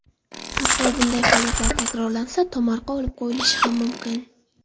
Hatto bunday holatlar takrorlansa, tomorqa olib qo‘yilishi ham mumkin.